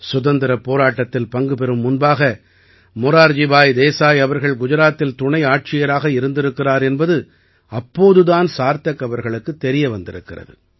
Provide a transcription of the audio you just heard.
சுதந்திரப் போராட்டத்தில் பங்கு பெறும் முன்பாக மொரார்ஜி பாய் தேசாய் அவர்கள் குஜராத்தில் துணை ஆட்சியராக இருந்திருக்கிறார் என்பது அப்போது தான் சார்த்தக் அவர்களுக்குத் தெரிய வந்திருக்கிறது